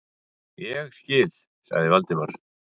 Ég skil- sagði Valdimar.